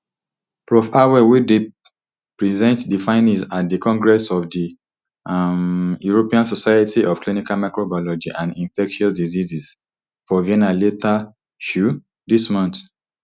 prof harwell dey present di findings at di congress of the um european society of clinical microbiology and infectious diseases for vienna later um dis month